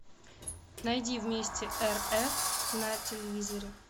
найди вместе рф на телевизоре